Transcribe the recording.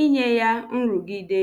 inye ya nrụgide.